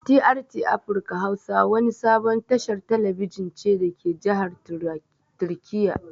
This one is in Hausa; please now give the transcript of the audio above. TRT afirka hausa wani sabon tashar talabijin ce dake jahar turkiya